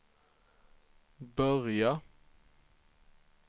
börja